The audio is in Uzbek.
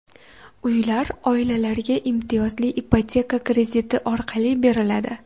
Uylar oilalarga imtiyozli ipoteka krediti orqali beriladi.